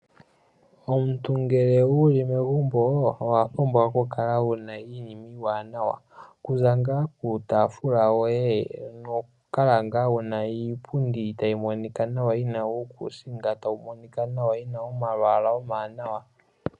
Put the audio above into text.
Omuntu ngele wuli megumbo owapumbwa okukala wuna iinima iiwanawa. Okuza ngaa kiitafula yoye noku kala wuna iipundi tayi monika nawa yina uukusinga tayi monika ,yina omalwaala omawanawa.